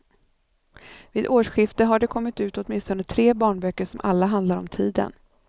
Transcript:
Vid årsskiftet har det kommit ut åtminstone tre barnböcker som alla handlar om tiden.